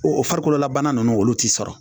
O o farikololabana nana olu t'i sɔrɔ